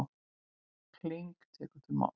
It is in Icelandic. King tekur til máls.